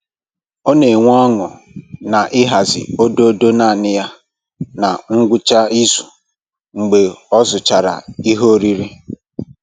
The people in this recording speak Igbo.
Ọ na enwe ọñụ na-ịhazi ododo naanị ya na ngwụcha izu mgbe ọ zụchara ihe oriri